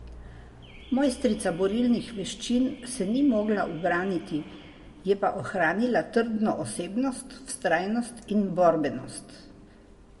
Mojstrica borilnih veščin se ni mogla ubraniti, je pa ohranila trdno osebnost, vztrajnost in borbenost.